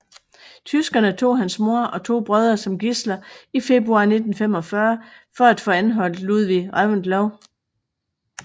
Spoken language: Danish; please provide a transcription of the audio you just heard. Tyskerne tog hans mor og to brødre som gidsler i februar 1945 for at få anholdt Ludvig Reventlow